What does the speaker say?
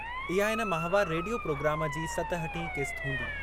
इहा इन माहिवारु रेडियो प्रोग्राम जी सतहठीं क़िस्त हूंदी।